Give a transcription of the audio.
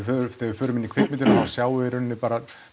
við förum inn í kvikmyndina þá sjáum við bara